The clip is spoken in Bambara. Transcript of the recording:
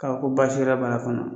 ko baasi wɛrɛ b'a la fana